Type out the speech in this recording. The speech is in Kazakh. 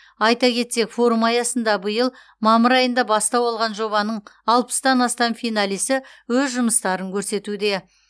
айта кетсек форум аясында биыл мамыр айында бастау алған жобаның тан астам финалисі өз жұмыстарын көрсетуде